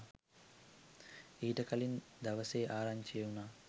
ඊට කලින් දවසේ ආරංචි වුණා